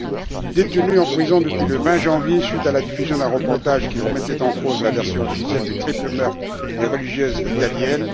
Il est détenu en prison depuis le 20 janvier, suite à la diffusion d'un reportage qui remettait en cause la version officielle du triple meurtre des religieuses italiennes.